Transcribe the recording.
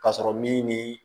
Ka sɔrɔ min ni